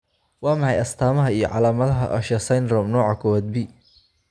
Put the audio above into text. Waa maxay astamaha iyo calaamadaha Usher syndrome, nooca kowaad B?